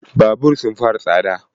Babur sun fara tsada